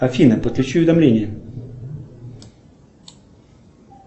афина подключи уведомление